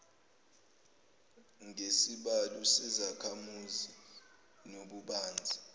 ngesibalo sezakhamuzi nobubanzi